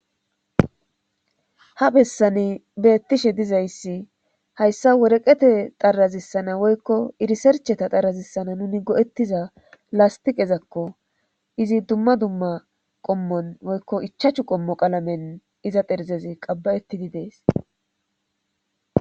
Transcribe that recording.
Ha bessani beettishe dizayssi hayssa woreqete xarazissana woykko irisercheta darazissana nuni go'ettiza lastiqezakko izi dumma dumma qommon woykko ichachu qommo qalamen iza pherzezi qabba'ettidi dees.